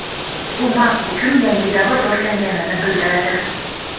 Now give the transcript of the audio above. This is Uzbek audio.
U Mac uchun yangi davr boshlanganini bildiradi.